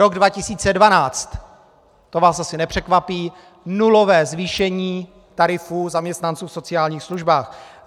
Rok 2012 - to vás asi nepřekvapí, nulové zvýšení tarifů zaměstnanců v sociálních službách.